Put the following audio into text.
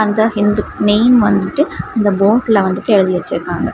அந்த ஹிந்து நேம் வந்துட்டு இந்த போர்டுல வந்துட்டு எழுதி வெச்சுருக்காங்க.